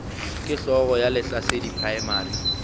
ke hlogo ya lehlasedi primary